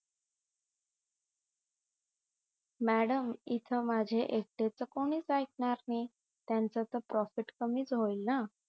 madam इथ माझ्या एकट्याच कोणीच आईकणार नाही त्याचं तर profit कमीच होईल ना